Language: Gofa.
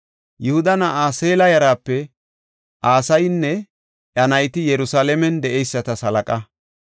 Yihuda na7aa Seela yaraape Asayinne iya nayti Yerusalaamen de7eysatas halaqa.